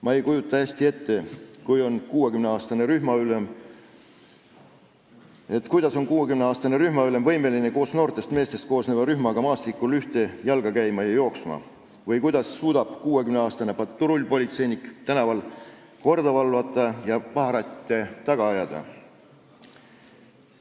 Ma ei kujuta hästi ette, kuidas on 60-aastane rühmaülem võimeline koos noortest meestest koosneva rühmaga maastikul ühte jalga käima või kuidas suudab 60-aastane patrullpolitseinik tänaval korda valvata ja paharette taga ajada.